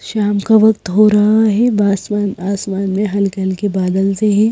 शाम का वक्त हो रहा है आसमान आसमान में हल्के-हल्के बादल से है।